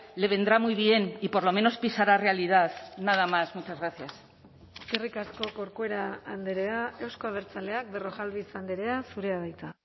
le vendrá muy bien y por lo menos pisará realidad nada más muchas gracias eskerrik asko corcuera andrea euzko abertzaleak berrojalbiz andrea zurea da hitza